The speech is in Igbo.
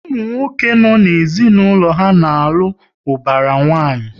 Ụmụ nwoke no n'ezinaulo ha na-alụ ubara nwanyi